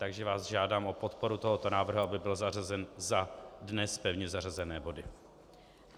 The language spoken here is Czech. Takže vás žádám o podporu tohoto návrhu, aby byl zařazen za dnes pevně zařazené body.